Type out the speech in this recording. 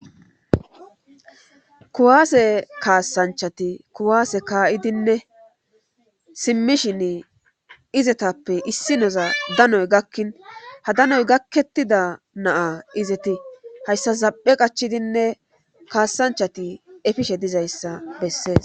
kuwaase kaassanchati kuwaase kaayidinne simmishin izetappe issi noza danoy gakkin ha danoy gakkettida naa izeti hayssa zaphe qachidinne kaassanchati efishe dizayssa bessees